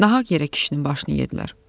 Nahaq yerə kişinin başını yedilər.